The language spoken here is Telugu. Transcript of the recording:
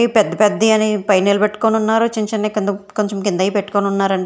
పెద్ద పెద్ద యన్ని పైన నిలబెట్టుకొని ఉన్నారు చిన్న చిన్నయి కింద కొంచెం కిందయి పెట్టుకొని ఉన్నారండి.